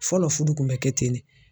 Fɔlɔ fudu kun bɛ kɛ ten ne.